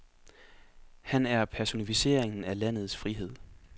Han er personficeringen af landets frihed.